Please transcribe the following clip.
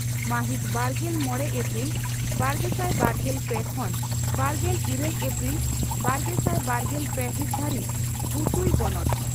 ᱢᱟᱦᱤᱛ ᱵᱟᱨᱜᱮᱞ ᱢᱚᱲᱮ ᱮᱯᱨᱤᱞ ᱵᱟᱨᱜᱮᱥᱟᱭ ᱵᱟᱨᱜᱮᱞ ᱯᱮ ᱠᱷᱚᱱᱵᱟᱨᱜᱮᱞ ᱤᱨᱟᱹᱞ ᱮᱯᱨᱤᱞ ᱵᱟᱨᱜᱮᱥᱟᱭ ᱵᱟᱨᱜᱮᱞ ᱯᱮ ᱦᱤᱛ ᱫᱷᱟᱹᱨᱤᱡ ᱵᱩᱥᱩᱭ ᱵᱚᱱᱚᱛ